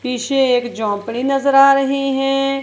पीछे एक झोपड़ी नजर आ रही है।